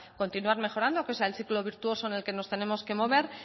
continuar mejorando que es el ciclo virtuoso en el que nos tenemos que mover